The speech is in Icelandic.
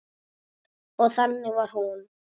Og þannig var hún.